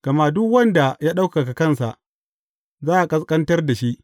Gama duk wanda ya ɗaukaka kansa, za a ƙasƙantar da shi.